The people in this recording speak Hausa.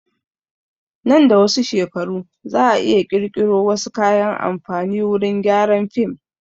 Nan da wasu shekaru za a iya ƙirƙiro wasu kayan amfani wurin gyaran film